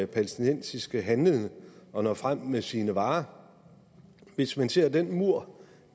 palæstinensiske handlende at nå frem med sine varer hvis man ser den mur